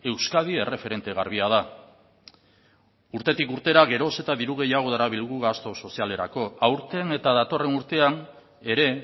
euskadi erreferente garbia da urtetik urtera geroz eta diru gehiago darabilgu gastu sozialerako aurten eta datorren urtean ere